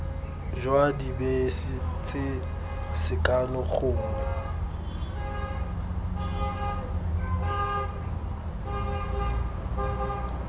jwa dibese tse sekano gongwe